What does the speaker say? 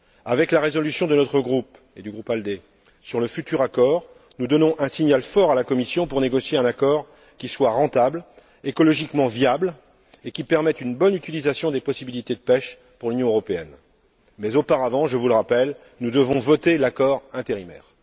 Avec la résolution de notre groupe et du groupe ALDE sur le futur accord, nous donnons un signal fort à la Commission pour négocier un accord qui soit rentable et écologiquement viable, et qui permette une bonne utilisation des possibilités de pêche pour l'Union européenne. Mais auparavant, je vous le rappelle, nous devons voter l'accord provisoire.